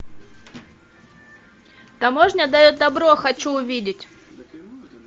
таможня дает добро хочу увидеть